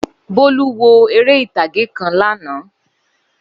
Bólú wo eré ìtàgé kan lánàá.